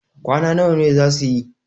kwana nawa za su yi?